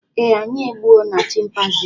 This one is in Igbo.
eeh, anyị egbuo na chịmpaizịn ahụ